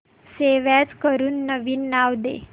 save as करून नवीन नाव दे